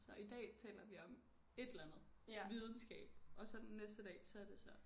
Så i dag taler vi om et eller andet. Videnskab og så den næste dag så er det så